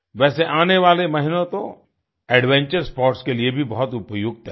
वैसे आने वाले महीने तो एडवेंचर स्पोर्ट्स के लिए भी बहुत उपयुक्त हैं